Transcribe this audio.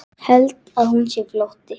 Held að hún sé flótti.